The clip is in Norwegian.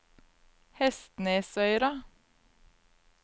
Hestnesøyra